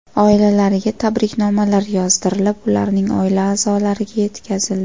Oilalariga tabriknomalar yozdirilib, ularning oila a’zolariga yetkazildi.